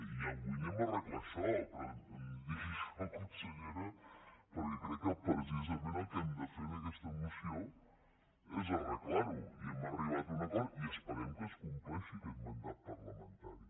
i avui arreglem això però no em digui això consellera perquè crec que precisament el que hem de fer en aquesta moció és arreglar ho i hem arribat a un acord i esperem que es compleixi aquest mandat parlamentari